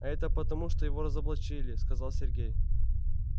а это потому что его разоблачили сказал сергей